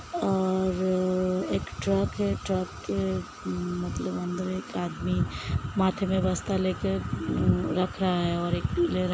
और एक ट्रक है | ट्रक के मतलब अंदर एक आदमी माथे पे बस्ता लेके रख रहा है और एक --